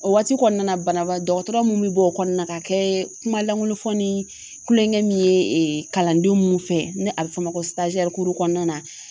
O waati kɔnɔna na banabaa dɔgɔtɔrɔ mun bɛ bɔ o kɔnɔna na ka kɛ kuma langolofɔ ni kulonkɛ min ye ee kalanden munnu fɛ ni a be fɔ o ma ko sitazɛruw kuru kɔnɔna na